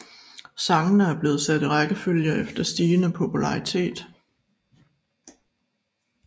Sangene er blevet sat i rækkefølge efter stigende popularitet